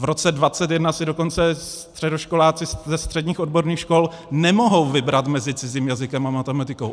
V roce 2021 si dokonce středoškoláci ze středních odborných škol nemohou vybrat mezi cizím jazykem a matematikou.